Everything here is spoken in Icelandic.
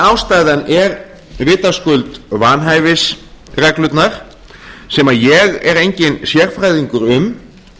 ástæðan er vitaskuld vanhæfisreglurnar sem ég er enginn sérfræðingur um